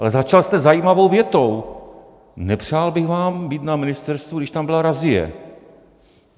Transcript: Ale začal jste zajímavou větou: Nepřál bych vám být na ministerstvu, když tam byla razie.